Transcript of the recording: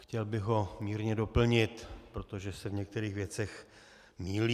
Chtěl bych ho mírně doplnit, protože se v některých věcech mýlí.